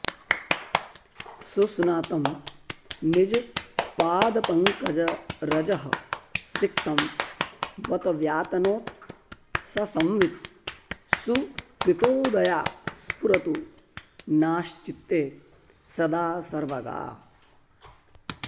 सुस्नातं निजपादपङ्कजरजःसिक्तं बत व्यातनोत् सा संवित् सुकृतोदया स्फुरतु नश्चित्ते सदा सर्वगा